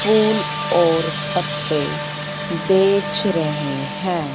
फूल और पत्ते बेच रहे हैं।